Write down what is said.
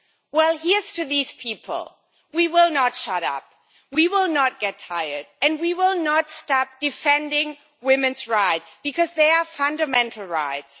Well, here is to these people we will not shut up, we will not get tired and we will not stop defending women's rights because they are fundamental rights.